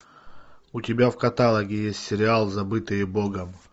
у тебя в каталоге есть сериал забытые богом